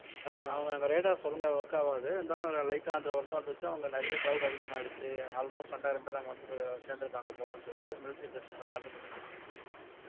அவங்க அங்க radar ஒழுங்கா work ஆவாது இருந்தாலும் அஹ் light ஆ அந்த work ஆவறதை வச்சு அவங்க நிறைய crowd அதிகமாயிருச்சு almost ரெண்டாயிரம் பேர் அங்க வந்து சேர்ந்திருக்காங்க போலன்னு சொல்லிட்டு military base ல இவங்க கண்டுபிடிச்சிருவாங்க